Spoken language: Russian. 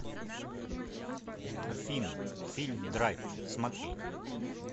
афина фильм драйв смотреть